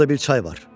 Orda bir çay var.